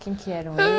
Quem que eram